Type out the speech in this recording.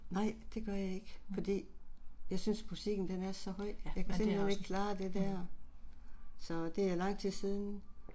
Mh, mh. Ja, men det er også, mh